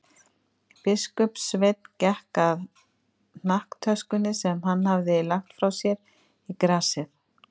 Biskupssveinn gekk að hnakktöskunni sem hann hafði lagt frá sér í grasið.